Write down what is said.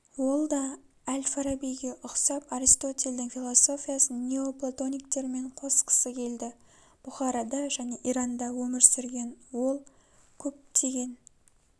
ол да әл-фарабиге ұқсап аристотельдің философиясын неоплатониктермен косқысы келді бұхарада және иранда өмір сүрген ол көптеген